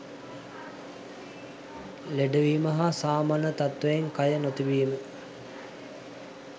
ලෙඩ වීම හා සාමාන්‍ය තත්ත්වයෙන් කය නොතිබීම